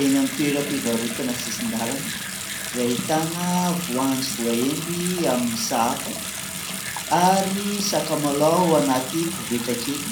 Eny amin'ny toeram-pivarotana sisin-dalana izay ahitana voanjo voahendy amin'ny sahafa ary sakamalao anaty koveta kely